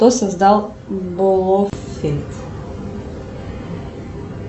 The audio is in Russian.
кто создал болофит